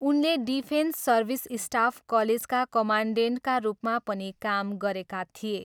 उनले defence service staff कलेजका कमान्डेन्टका रूपमा पनि काम गरेका थिए।